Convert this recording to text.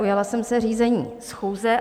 Ujala jsem se řízení schůze.